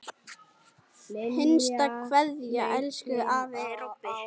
HINSTA KVEÐJA Elsku afi Robbi.